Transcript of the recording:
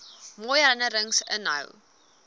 mooi herinnerings inhou